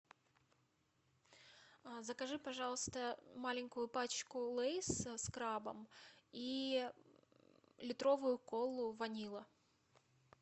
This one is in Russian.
закажи пожалуйста маленькую пачку лейс с крабом и литровую колу ванилла